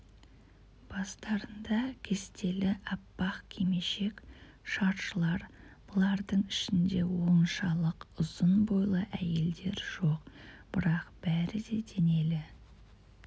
бастарында кестелі аппақ кимешек-шаршылар бұлардың ішінде оншалық ұзын бойлы әйелдер жоқ бірақ бәрі де денелі